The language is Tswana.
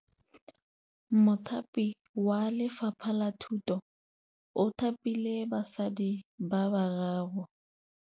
Mothapi wa Lefapha la Thutô o thapile basadi ba ba raro.